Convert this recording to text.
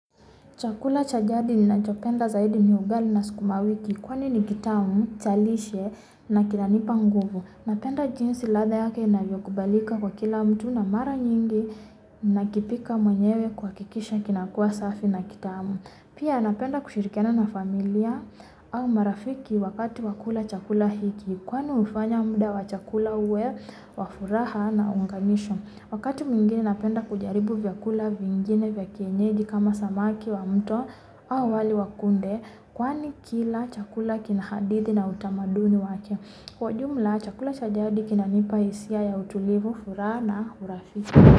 Chakula chajadi ninachopenda zaidi ni ugali na sukumawiki, kwani ni kitamu chalishye na kinanipa nguvu. Napenda jinsi ladha yake ina kubalika kwa kila mtu na mara nyingi na kipika mwenyewe kuakikisha kina kua safi na kitamu. Pia napenda kushirikana na familia au marafiki wakati wakula chakula hiki. Kwani hufanya mda wachakula uwe wa furaha na unganisho. Wakatu mwingine napenda kujaribu vya kula vyingine vya kienyeji kama samaki wa mto au wali wakunde. Kwani kila chakula kinahathi na utamaduni wake. Kwa ujumla chakula chajadi kinanipa hisia ya utulivu furaha na urafiki.